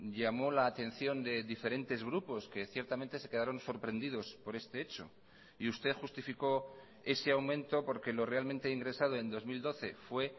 llamó la atención de diferentes grupos que ciertamente se quedaron sorprendidos por este hecho y usted justificó ese aumento porque lo realmente ingresado en dos mil doce fue